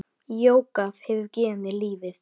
Jógað hefur gefið mér lífið.